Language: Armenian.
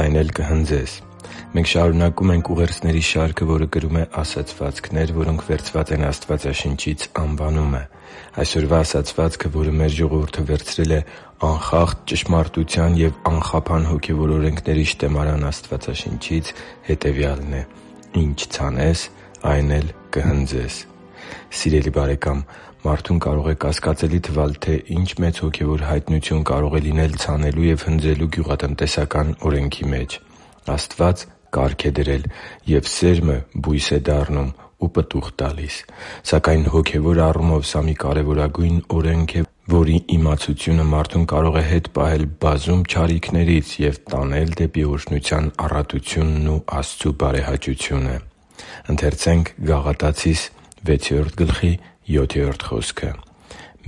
այն էլ կհնձես Մենք շարունակում ենք ուղերձների շարքը, որը կրում է «Ասացվածքներ, որոնք վերցված են Աստվածաշնչից» անվանումը։ Այսօրվա ասացվածքը, որը մեր ժողովուրդը վերցրել է անխախտ ճշմարտության և անխափան հոգևոր օրենքների շտեմարան Աստվածաշնչից, հետևյալն է՝ «Ինչ ցանես, այն էլ կհնձես»։ Սիրելի՛ բարեկամ, մարդուն կարող է կասկածելի թվալ, թե ինչ մեծ հոգևոր հայտնություն կարող է լինել ցանելու ու հնձելու գյուղատնտեսական օրենքի մեջ։ Աստված կարգ է դրել, և սերմը բույս է դառնում ու պտուղ տալիս։ Սակայն հոգևոր առումով սա մի կարևորագույն օրենք է, որի իմացությունը մարդուն կարող է պահել բազում չարիքներից և տանել դեպի օրհնության առատությունն ու Աստծու բարեհաճությունը։